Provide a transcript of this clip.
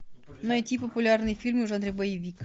найти популярные фильмы в жанре боевик